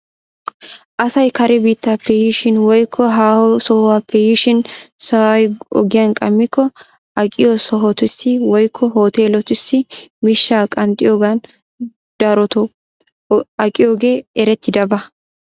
Asay kare biitappe yiishin woykko haaho sohuwaape yiishin sa'ay ogiyan qammikko aqiyoo sohotussi woykko hooteeletussi miishshaa qanxxiyoogan daroto aqiyoogee erettidaba.